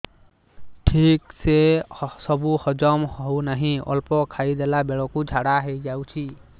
ଠିକସେ ସବୁ ହଜମ ହଉନାହିଁ ଅଳ୍ପ ଖାଇ ଦେଲା ବେଳ କୁ ଝାଡା ହେଇଯାଉଛି